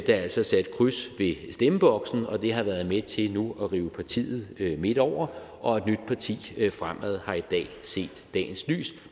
der altså satte kryds i stemmeboksen og det har været med til nu at rive partiet midt over og et nyt parti fremad har i dag set dagens lys